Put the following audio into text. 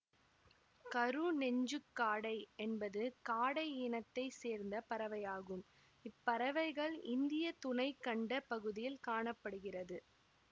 கருநெஞ்சுக்காடை என்பது காடை இனத்தை சேர்ந்த பறவையாகும் இப்பறவைகள் இந்திய துணைக்கண்ட பகுதியில் காண படுகிறது